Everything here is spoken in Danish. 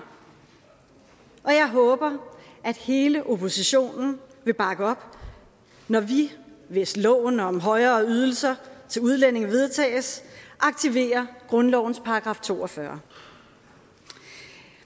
og jeg håber at hele oppositionen vil bakke op når vi hvis loven om højere ydelser til udlændinge vedtages aktiverer grundlovens § to og fyrre